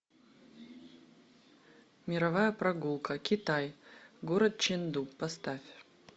мировая прогулка китай город ченду поставь